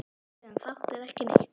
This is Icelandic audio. Sögðum fátt eða ekki neitt.